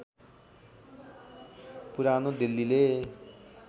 पुरानो दिल्लीले